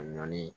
A nɔɔni